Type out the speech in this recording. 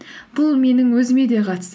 бұл менің өзіме де қатысты